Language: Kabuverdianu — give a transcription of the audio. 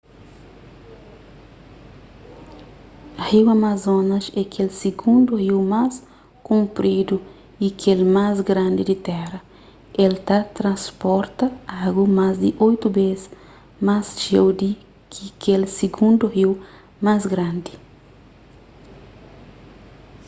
riu amazonas é kel sigundu riu más kunpridu y kel más grandi di téra el ta transporta agu más di 8 bês más txeu di ki kel sigundu riu más grandi